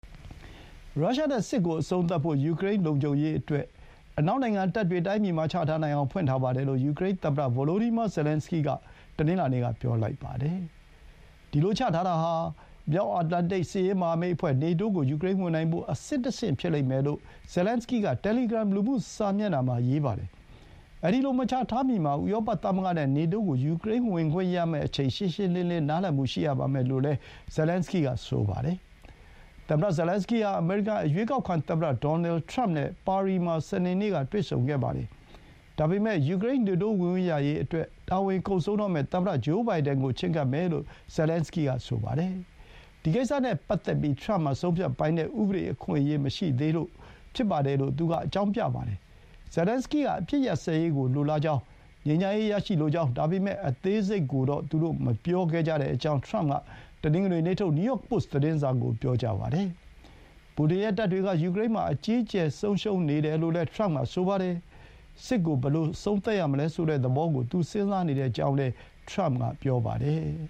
ရုရှား နဲ့ စစ်ကို အဆုံးသတ်ဖို့ ယူကရိန်း လုံခြုံရေးအတွက် အနောက်နိုင်ငံတပ်တွေ တိုင်းပြည်မှာ ချထားနိုင်အောင် ဖွင့်ထားပါတယ်လို့ ယူကရိန်း သမ္မတ Volodymyr Zelenskyy က တနင်္လာနေ့က ပြောလိုက်ပါတယ်။ ဒီလို ချထားတာဟာ မြောက်အတ္တလန်တိတ် စစ်ရေးမဟာမိတ် အဖွဲ့ နေတိုးကို ယူကရိန်းဝင်နိုင်ဖို့ အဆင့်တဆင့် ဖြစ်လိမ့်မယ်လို့ ဇယ်လင်န်စကီးက တယ်လီဂရမ် လူမှုစာမျက်နှာမှာ ရေးပါတယ်။ အဲဒီလို မချထားမီမှာ ဥရောပ သမဂ္ဂနဲ့ နေတိုး ကို ယူကရိန်း ဝင်ခွင့်ရမယ့် အချိန် ရှင်းရှင်းလင်းလင်း နားလည်မှုရှိရပါမယ်လို့ ဇယ်လင်န်စကီးက ဆိုပါတယ်။ သမ္မတ ဇယ်လင်န်စကီး ဟာ အမေရိကန် အရွေးကောက်ခံ သမ္မတ ဒေါ်နယ်ထရမ့် နဲ့ ပါရီမှာ စနေနေ့က တွေ့ဆုံခဲ့ပါတယ်။ ဒါပေမဲ့ ယူကရိန်း နေတိုးဝင်ခွင့်ရရေးအတွက် တာဝန်ကုန်ဆုံးတော့မယ့် သမ္မတ ဂျိုးဘိုင်ဒင်န်ကို ချဥ်းကပ်မယ်လို့ ဇယ်လင်န်စကီး က ဆိုပါတယ်။ ဒီကိစ္စနဲ့ ပတ်သက်ပြီး ထရမ့်မှာ ဆုံးဖြတ်ပိုင်တဲ့ ဥပဒေအခွင့်အရေး မရှိသေးလို့ ဖြစ်ပါတယ်လို့ သူက အကြောင်းပြပါတယ်။ ဇယ်လင်န်စကီးက အပစ်ရပ်စဲရေးကို လိုလားကြောင်း၊ ငြိမ်းချမ်းရေး ရလိုကြောင်း ဒါပေမဲ့ အသေးစိတ်ကိုတော့ သူတို့ မပြောခဲ့ကြကြောင်း ထရမ့်က တနင်္ဂနွေနေ့ထုတ် နယူးယောက်ပို့စ် သတင်းစာကို ပြောကြားပါတယ်။ ပူတင်ရဲ့ တပ်တွေက ယူကရိန်းမှာ အကြီးအကျယ် ဆုံးရှုံးနေတယ်လို့လည်း ထရမ့်က ဆိုပါတယ်။ စစ်ကို ဘယ်လို အဆုံးသတ်ရမလဲ ဆိုတဲ့ သဘောကို သူ စဥ်းစားနေကြောင်းလည်း ထရမ့်က ပြောပါတယ်။